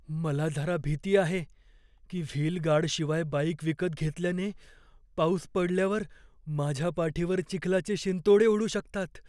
मला जरा भीती आहे की, व्हील गार्डशिवाय बाइक विकत घेतल्याने पाऊस पडल्यावर माझ्या पाठीवर चिखलाचे शिंतोडे उडू शकतात.